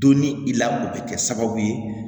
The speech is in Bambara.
Donni i la o bɛ kɛ sababu ye